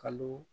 Kalo